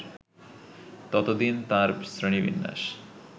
ততদিন তাঁর শ্রেণী-বিন্যাস